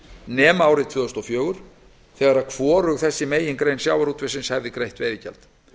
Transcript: nema árið tvö þúsund og fjögur þegar hvorug þessi megingrein sjávarútvegsins hefði greitt veiðigjald